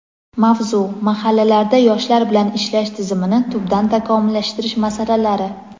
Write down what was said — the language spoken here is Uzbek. Mavzu: Mahallalarda yoshlar bilan ishlash tizimini tubdan takomillashtirish masalalari.